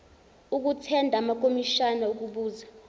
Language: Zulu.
okuthenda amakomishana okubuza